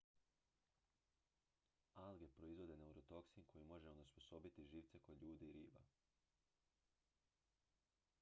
alge proizvode neurotoksin koji može onesposobiti živce kod ljudi i riba